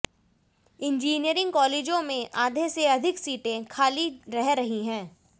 engineering कालेजों में आधे से अधिक सीटें खाली रह रही हैं